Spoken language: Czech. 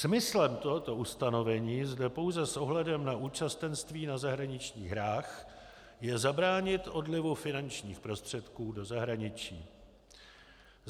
Smyslem tohoto ustanovení zde pouze s ohledem na účastenství na zahraničních hrách je zabránit odlivu finančních prostředků do zahraničí.